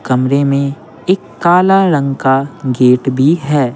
कमरे में एक काला रंग का गेट भी है।